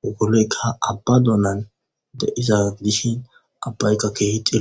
wogoloyka abba doonan de7iza gidishin abbaykka keehixia.